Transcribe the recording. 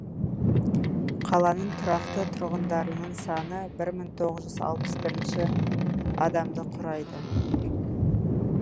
қаланың тұрақты тұрғындарының саны бір мың тоғыз жүз алпыс бірінші адамды құрайды